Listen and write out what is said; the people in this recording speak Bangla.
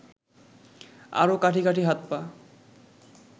আর কাঠি কাঠি হাত-পা